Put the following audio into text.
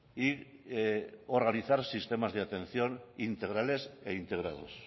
y organizar sistemas de atención integrales e integrados